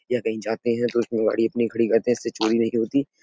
यह कही जाते है तो इसमें गाड़ी अपनी खड़ी करते हैं। इससे चोरी नहीं होती।